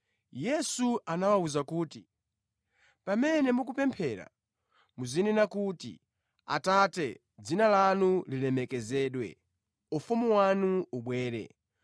Yesu anawawuza kuti, “Pamene mukupemphera muzinena kuti: “ ‘Atate, dzina lanu lilemekezedwe, ufumu wanu ubwere.